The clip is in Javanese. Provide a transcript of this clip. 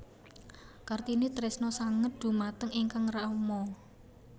Kartini tresna sanget dhumateng ingkang rama